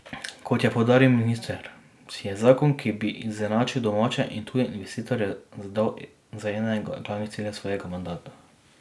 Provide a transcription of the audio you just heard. Kot je poudaril minister, si je zakon, ki bi izenačil domače in tuje investitorje, zadal za enega glavnih ciljev svojega mandata.